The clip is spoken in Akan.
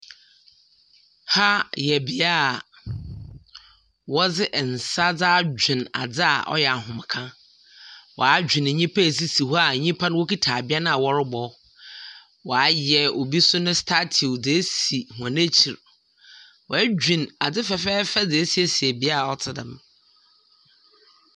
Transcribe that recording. Ha yɛ bia a ɔde nsa de adwene ade a ɔyɛ ahomeka. Wa adwene nipa a esisi hɔ a nipa no ɔkita abɛn a ɔrebɔ, wa ayɛ obi nso ne honini nso de asi wɔn akyiri, wa adwene ade fɛfɛɛfɛ de asiesie bia a ɔte dɛm.